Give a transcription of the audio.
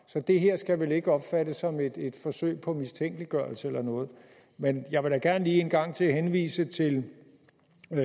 så det her skal vel ikke opfattes som et forsøg på mistænkeliggørelse men jeg vil da gerne lige en gang til henvise til